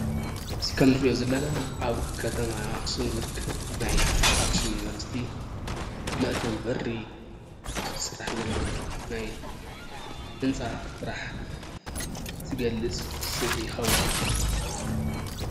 እዚ ንሪኦ ዘለና ኣብ ከተማ ኣኽሱም ዝርከብ ናይ ኣኽሱም ዩኒቨርሲቲ መእተዊ በሪ ዝስራሕ ዘሎ ናይ ህንፃ ስራሕ ዝገልፅ ስእሊ ይኸዉን።